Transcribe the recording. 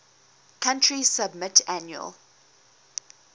country submit annual